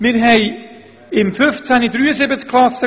Wir hatten im Jahr 2015 73 Basisstufen-Klassen.